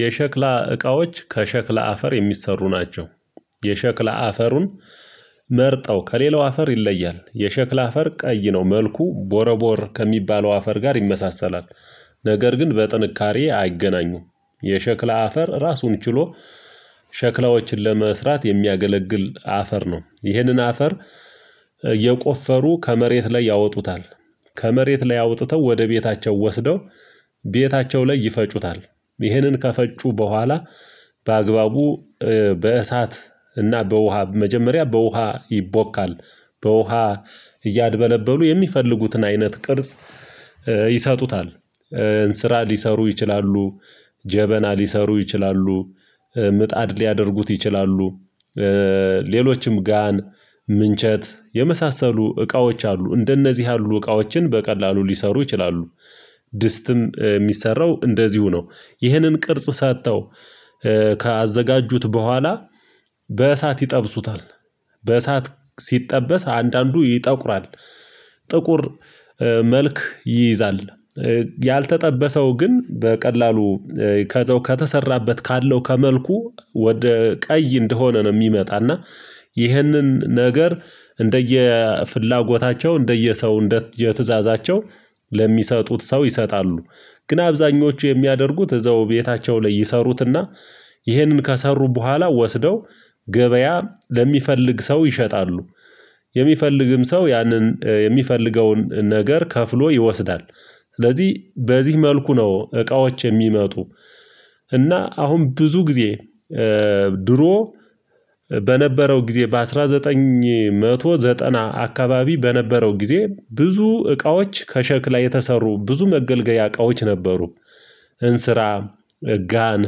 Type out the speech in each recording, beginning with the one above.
የሸክላ እቃዎች ከሸክላ አፈር የሚሰሩ ናቸው። የሸክላ አፈሩን መርጠው ከሌላው አፈር ይለያል የሸክላ አፈር ቀይ ነው መልኩ ቦረቦር ከሚባለው አፈር ጋር ይመሳሰላል። ነገር ግን በጥንካሬ አይገናኙም። የሸክላ አፈር ራሱን ችሎ። ሸክላዎችን ለመስራት የሚያገለግል አፈር ነው። ይኸንን አፈር የቆፈሩ ከመሬት ላይ ያወጡታል። ከመሬት ላይ አውጥተው ወደ ቤታቸው ወስደው ቤታቸው ላይ ይፈጩታል። ይህንን ከፈጩ ቡሃላ በአግባቡ በእሳት እና በውሃ መጀመሪያ በውሃ ይቦካል። በውሃ እያደበለበሉ የሚፈልጉትን አይነት ቅርጽ ይሰጡታል። እንስራ ሊሰሩ ይችላሉ። ጀበና ሊሰሩ ይችላሉ። ምጣድ ሊያደርጉት ይችላሉ። ሌሎችም ጋን ምንቸት የመሳሰሉ እቃዎች አሉ። እንደነዚህ ያሉ እቃዎችን በቀላሉ ሊሰሩ ይችላሉ። ድስትም እሚሰራው እንደዚሁ ነው። ይህንን ቅርጽ ሰጥተው ካዘጋጁት ቡሃላ በእሳት ይጠብሱታል። በእሳት ሲጠበስ አንዳንዱ ይጠቁራል ጥቁር መልክ ይይዛል። ያልተጠበሰው ግን በቀላሉ ከዛው ከተሰራበት ካለው ከመልኩ ወደ ቀይ እንደሆነ ነው። እሚመጣና ይኸንን ነገር እንደየ ፍላጎታቸው እንደየ ሰው እንደ ትዕዛዛቸው ለሚሰጡት ሰው ይሰጣሉ። ግን አብዛኞቹ የሚያደርጉት እዛው ቤታቸው ላይ ይሰሩትና ይሄንን ከሰሩ በኋላ ወስደው ገበያ ለሚፈልግ ሰው ይሸጣሉ። የሚፈልግም ሰው ያንን የሚፈልገውን ነገር ከፍሎ ይወስዳል። ስለዚህ በዚህ መልኩ ነው እቃዎች የሚመጡ። እና አሁን ብዙ ጊዜ ድሮ በነበረው ጊዜ በአስራ ዘጠኝ ዘጠና አካባቢ በነበረው ጊዜ ብዙ እቃዎች ከሸክላ የተሰሩ ብዙ መገልገያ እቃዎች ነበሩ። እንስራ ጋን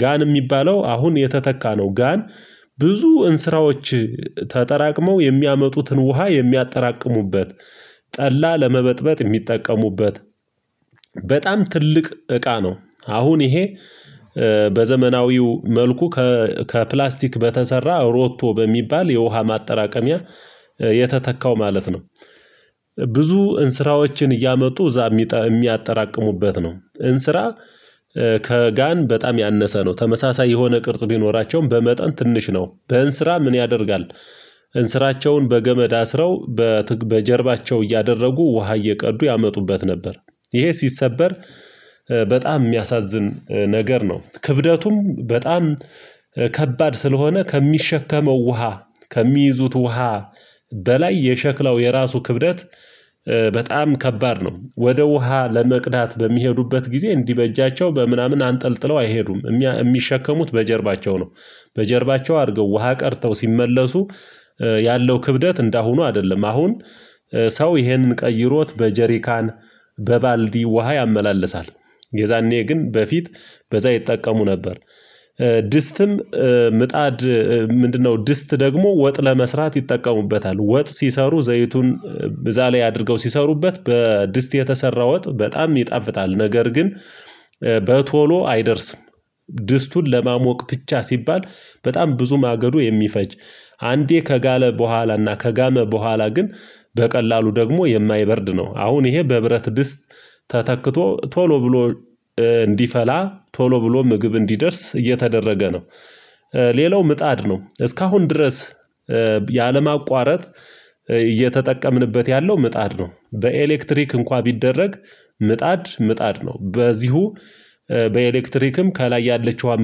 ጋን እሚባለው አሁን የተተካ ነው። ጋን ብዙ እንስራዎች ተጠራቅመው የሚያመጡትን ውሃ የሚያጠራቅሙበት ጠላ ለመበጥበጥ እሚጠቀሙበት። በጣም ትልቅ እቃ ነው። አሁን ይሄ በዘመናዊው መልኩ ከፕላስቲክ በተሰራ ሮቶ በሚባል የውሃ ማጠራቀሚያ የተተካው ማለት ነው። ብዙ እንስራዎችን እያመጡ እዛ እሚያጠራቅሙበት ነው። እንስራ ከጋን በጣም ያነሰ ነው። ተመሳሳይ የሆነ ቅርጽ ቢኖራቸውም በመጠን ትንሽ ነው በእንስራ ምን ያደርጋል? እንስራቸውን በገመድ አስረው በጀርባቸው እያደረጉ ውሃ እየቀዱ ያመጡበት ነበር። ይሄ ሲሰበር በጣም እሚያሳዝን ነገር ነው። ክብደቱም በጣም ከባድ ስለሆነ ከሚሸከመው ውሃ ከሚይዙት ውሃ በላይ የሸክላው የራሱ ክብደት በጣም ከባድ ነው። ወደ ውሃ ለመቅዳት በሚሄዱበት ጊዜ እንዲህ በእጃቸው በምናምን አንጠልጥለው አይሄዱም እሚሸከሙት በጀርባቸው ነው። በጀርባቸው አድርገው ውሃ ቀርተው ሲመለሱ ያለው ክብደት እንደ አሁኑ አይደለም። አሁን ሰው ይሄንን ቀይሮት በጀሪካን በባልዲ ውሃ ያመላልሳል። የዛኔ ግን በፊት በዛ ይጠቀሙ ነበር። ድስትም ምጣድ ምንድነው? ድስት ደግሞ ወጥ ለመስራት ይጠቀሙበታል ወጥ ሲሰሩ ዘይቱን እዛ ላይ አድርገው ሲሰሩበት በድስት የተሰራው ወጥ በጣም ይጣፍጣል። ነገር ግን በቶሎ አይደርስም። ድስቱን ለማሞቅ ብቻ ሲባል በጣም ብዙ ማገዶ የሚፈጅ አንዴ ከጋለ ቡኃላና ከጋመ በኋላ ግን በቀላሉ ደግሞ የማይበርድ ነው። አሁን ይሄ በብረት ድስት ተተክቶ ቶሎ ብሎ እንዲፈላ ቶሎ ብሎ ምግብ እንዲደርስ እየተደረገ ነው። ሌላው ምጣድ ነው እስካሁን ድረስ ያለምአቋረጥ እየተጠቀምንበት ያለው ምጣድ ነው። በኤሌክትሪክ እንኳን ቢደረግ ምጣድ ምጣድ ነው። በዚሁ በኤሌክትሪክም ከላይ ያለችዋን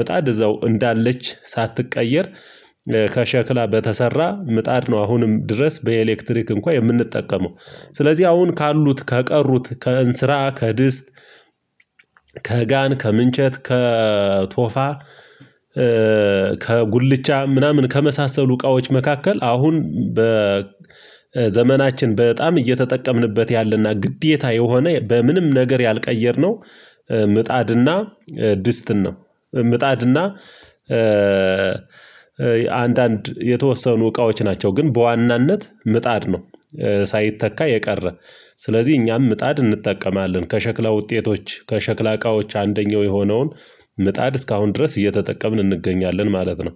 ምጣድ እዛው እንዳለች ሳትቀየር ከሸክላ በተሰራ ምጣድ ነው። አሁንም ድረስ በኤሌክትሪክ እንኳ የምንጠቀመው። ስለዚህ አሁን ካሉት ከቀሩት ከእንስራ ከድስት ከጋን ከምንጨት ከቶፋ ከጉልቻ ምናምን ከመሳሰሉ እቃዎች መካከል አሁን ዘመናችን በጣም እየተጠቀምንበት ያለና ግዴታ የሆነ በምንም ነገር ያልቀየርነው ምጣድና ድስትን ነው። ምጣድ እና አንዳንድ የተወሰኑ እቃዎች ናቸው ግን በዋናነት ምጣድ ነው። ሳይተካ የቀረ ስለዚህ እኛም ምጣድ እንጠቀማለን። ከሸክላ ውጤቶች ከሸክላ እቃዎች አንደኛው የሆነውን ምጣድ እስካሁን ድረስ እየተጠቀምን እንገኛለን ማለት ነው